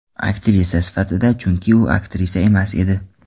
Aktrisa sifatida, chunki u aktrisa emas edi.